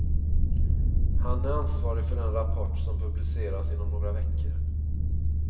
Han är ansvarig för den rapport som publiceras inom några veckor.